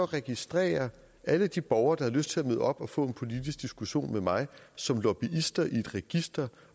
registrere alle de borgere der havde lyst til at møde op og få en politisk diskussion med mig som lobbyister i et register